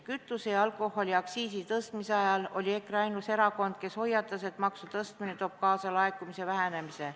Kütuse- ja alkoholiaktsiisi tõstmise ajal oli EKRE ainus erakond, kes hoiatas, et maksu tõstmine toob kaasa laekumise vähenemise.